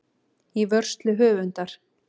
Í vörslu höfundar.